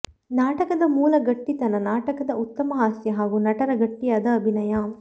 ನಾಟಕದ ಮೂಲ ಗಟ್ಟಿತನ ನಾಟಕದ ಉತ್ತಮ ಹಾಸ್ಯ ಹಾಗೂ ನಟರ ಗಟ್ಟಿಯಾದ ಅಭಿನಯ